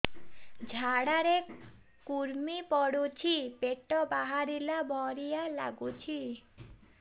ଝାଡା ରେ କୁର୍ମି ପଡୁଛି ପେଟ ବାହାରିଲା ଭଳିଆ ଲାଗୁଚି